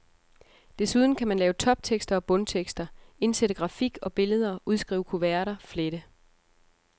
Desuden kan man lave toptekster og bundtekster, indsætte grafik og billeder, udskrive kuverter, flette.